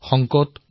সংকটো অনেক আহিছে